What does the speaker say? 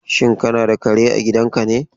Shin kana da kare a gidanka ne?